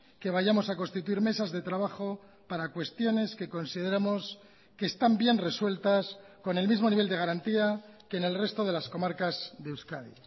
que vayamos a constituir mesas de trabajo para cuestiones que consideramos que están bien resueltas con el mismo nivel de garantía que en el resto de las comarcas de euskadi